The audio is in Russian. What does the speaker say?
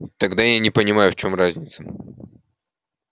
тогда я не понимаю в чём разница